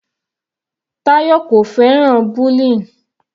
Tayọ kò fẹ́ràn bullying.